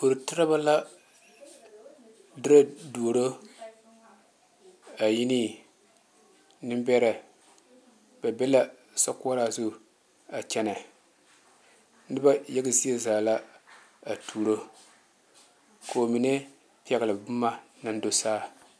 Doro terebɛ la dere doro a yi ne naŋ bɛre ba be la sokoɔraa zu a kyɛne noba yaga zie zaa la a tuuro koo mine pegle boma naŋ do saa.